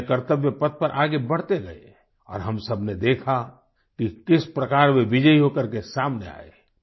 वे अपने कर्त्तव्य पथ पर आगे बढ़ते गए और हम सबने देखा कि किस प्रकार वे विजयी होकर के सामने आये